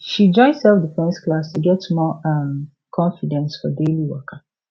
she join self defence class to get more um confidence for daily waka